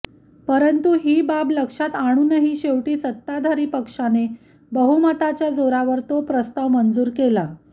परंतु ही बाब लक्षात आणूनही शेवटी सत्ताधारी पक्षाने बहुमताच्या जोरावर तो प्रस्ताव मंजूर केला